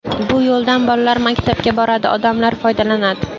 Bu yo‘ldan bolalar maktabga boradi, odamlar foydalanadi.